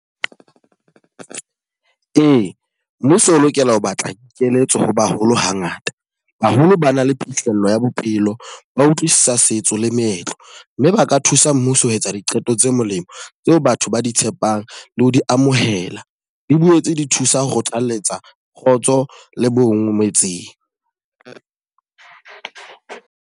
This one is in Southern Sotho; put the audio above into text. Ee, mmuso o lokela ho batla dikeletso ho baholo ha ngata. Baholo ba na le phihlello ya bophelo, ba utlwisisa setso le meetlo. Mme ba ka thusa mmuso ho etsa diqeto tse molemo tseo batho ba di tshepang le ho di amohela. Di boetse di thusa ho kgothaletsa kgotso le bo nngwe metseng.